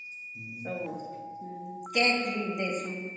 ଅମ୍cake